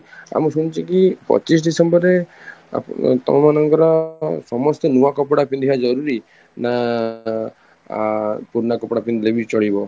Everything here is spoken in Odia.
ଆଉ ମୁଁ ଶୁଣିଛି କି ପଚିଶ December ରେ ତମମାନଙ୍କର ସମସ୍ତେ ନୂଆ କପଡା ପିନ୍ଧିବା ଜରୁରୀ ନା ଆଂ ପୁରୁଣା କପଡା ପିନ୍ଧିଲେ ବି ଚଳିବ?